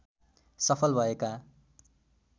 सफल भएका